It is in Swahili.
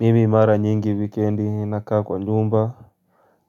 Mimi mara nyingi wikendi na kaa kwa nyumba.